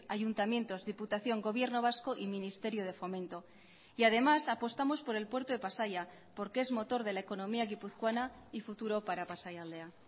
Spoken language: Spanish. ayuntamientos diputación gobierno vasco y ministerio de fomento y además apostamos por el puerto de pasaia porque es motor de la economía guipuzcoana y futuro para pasaialdea